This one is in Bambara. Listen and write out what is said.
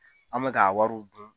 An mɛ k'a wariw dun.